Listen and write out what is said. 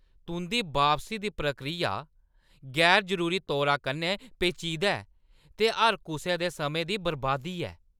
तुंʼदी बापसी दी प्रक्रिया गैर जरूरी तौर कन्नै पेचीदा ऐ ते हर कुसै दे समें दी बरबादी ऐ।